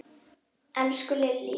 Elsku Lillý!